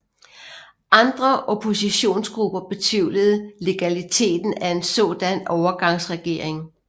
Andre oppositionsgrupper betvivlede legaliteten af en sådan overgangsregering